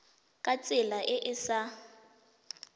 ka tsela e e sa